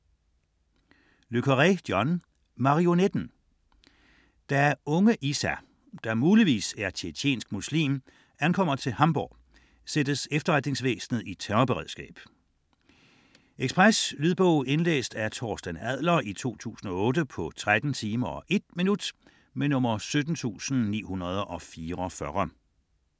Le Carré, John: Marionetten Da unge Issa, der muligvis er tjetjensk muslim, ankommer til Hamburg, sættes efterretningsvæsenet i terrorberedskab. Lydbog 17944 Indlæst af Torsten Adler, 2008. Spilletid: 13 timer, 1 minut. Ekspresbog